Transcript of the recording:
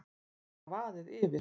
Bara vaðið yfir.